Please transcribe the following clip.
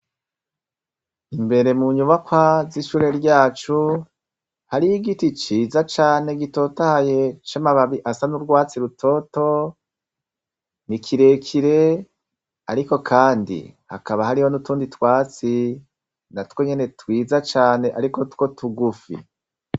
Imbere mu nyubakwa z'ishure ryacu hariho igiti ciza cane gitotahaye c'amababi asa n'urwatsi rutoto , ni kirekire ariko Kandi hakaba hariho n'utundi twatsi natwo nyene twiza cane ariko two tugufi.